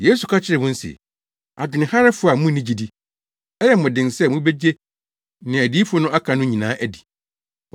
Yesu ka kyerɛɛ wɔn se, “Adwenharefo a munni gyidi; ɛyɛ mo den sɛ mubegye nea adiyifo no aka no nyinaa adi.